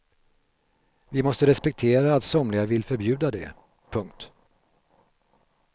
Vi måste respektera att somliga vill förbjuda det. punkt